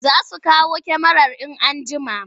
Za su kawo kyamarar in an jima.